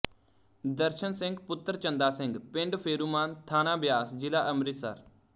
ਦਰਸ਼ਨ ਸਿੰਘ ਪੁੱਤਰ ਚੰਦਾ ਸਿੰਘ ਪਿੰਡ ਫੇਰੂਮਾਨ ਥਾਣਾ ਬਿਆਸ ਜ਼ਿਲ੍ਹਾ ਅੰਮ੍ਰਿਤਸਰ